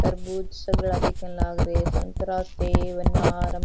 तरबूज सगला दिखन लागरे है संतरा सेव अनार --